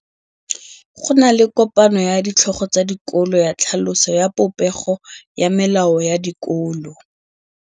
Go na le kopanô ya ditlhogo tsa dikolo ya tlhaloso ya popêgô ya melao ya dikolo.